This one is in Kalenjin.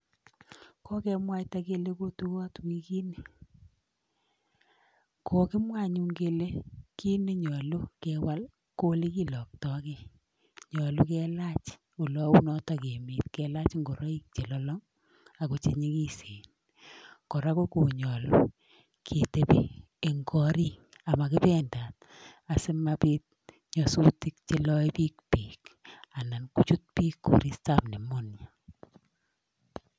Kokemwaita kele kotuot wikini. Kokimwa anyun kele kit nenyolu kewal ko olekiloktokei, nyolu kelach olounotoK emet kelach nguroik chelolong ako chenyikisen, kora ko konyolu ketepi eng korik makipendat asimapit nyasutik cheloebich beek anan kochut biik koristoap [sc]pneumonia.